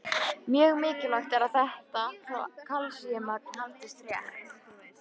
Mjög mikilvægt er að þetta kalsíummagn haldist rétt.